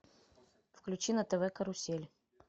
включи на тв карусель